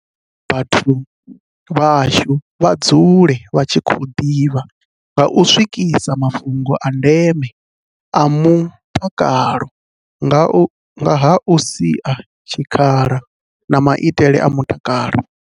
Vho ita uri vhathu vhashu vha dzule vha tshi khou ḓivha nga u swikisa mafhungo a ndeme a mu takalo nga ha u sia tshikhala na maitele a mutakalo.